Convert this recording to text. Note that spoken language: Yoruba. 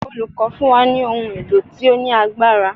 Olùkọ́ fún wa ní ohun èlò tí ó ní agbára.